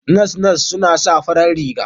Nas-nas suna sa farar riga.